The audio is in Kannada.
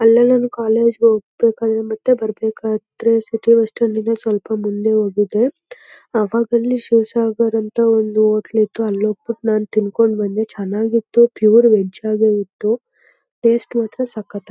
ಅಲ್ಲೆಲ್ಲ ನಾನು ಕಾಲೇಜ್ ಗೆ ಹೋಗ್ಬೇಕಾದ್ರೆ ಮತ್ತೆ ಬರ್ಬೇಕಾದ್ರೆ ಸಿಟಿ ಬಸ್ಸ್ಟ್ಯಾಂಡ್ ಗಿಂತ ಸ್ವಲ್ಪ ಮುಂದೆ ಹೋಗಿದ್ದೆ. ಅವಾಗಲ್ಲಿ ಶಿವಸಾಗರ್ ಅಂತ ಒಂದು ಹೋಟೆಲ್ ಇತ್ತು. ಅಲ್ಲಿ ಹೋಗ್ಬಿಟ್ಟು ನಾನು ತಿನ್ಕೊಂಡು ಬಂದೆ ಚೆನ್ನಾಗಿತ್ತು ಪ್ಯೂರ್ ವೆಜ್ ಆಗೇ ಇತ್ತು ಟೇಸ್ಟ್ ಮಾತ್ರ ಸಖತ್ತಾಗಿತ್ತು.